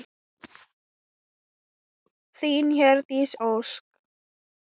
Þín, Hjördís Ósk.